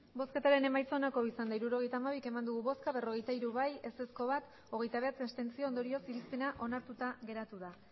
hirurogeita hamabi eman dugu bozka berrogeita hiru bai bat ez hogeita bederatzi abstentzio ondorioz irizpena onartuta geratzen da